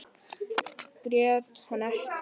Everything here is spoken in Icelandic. Grét hann ekki.